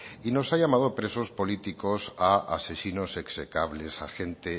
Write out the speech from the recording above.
y nos ha llamado presos políticos a asesinos execrables a gente